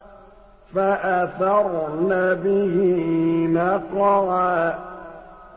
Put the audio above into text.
فَأَثَرْنَ بِهِ نَقْعًا